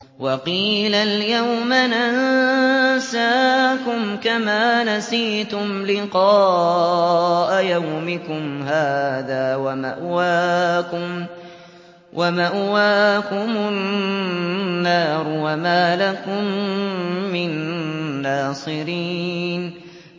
وَقِيلَ الْيَوْمَ نَنسَاكُمْ كَمَا نَسِيتُمْ لِقَاءَ يَوْمِكُمْ هَٰذَا وَمَأْوَاكُمُ النَّارُ وَمَا لَكُم مِّن نَّاصِرِينَ